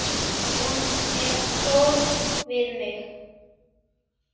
Hún er góð við mig.